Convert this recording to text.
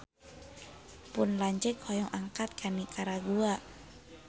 Pun lanceuk hoyong angkat ka Nikaragua